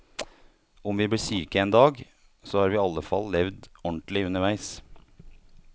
Om vi blir syke en dag, så har vi i alle fall levd ordentlig underveis.